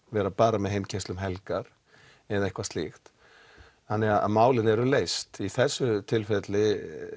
vera bara með heimkeyrslu um helgar eða eitthvað slíkt þannig málin eru leyst í þessu tilfelli